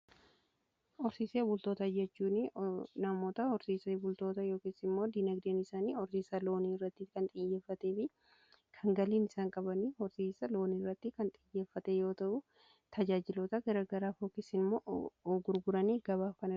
Horsiisee bultoota jechuun namoota horsiise bultoota yookiin immoo dinagdeen isaanii horsiisa loonii irratti kan xiyyeeffatee fi kan galiin isaan qabanii horsiisa loonii irratti kan xiyyeeffatee yoo ta'uu tajaajilota garagaraa yookiin immoo gurguranii gabaaf kan dhiyeessani.